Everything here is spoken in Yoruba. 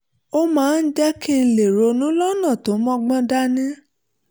ó máa ń jẹ́ kí n lè ronú lọ́nà tó mọ́gbọ́n dání